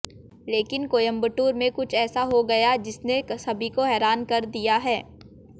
लेकिन कोयंबटूर में कुछ ऐसा हो गया है जिसने सभी को हैरान कर दिया है